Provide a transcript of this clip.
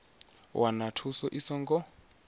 u wana thuso i songo